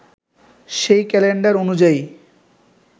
সেই ক্যালেন্ডার অনুযায়ী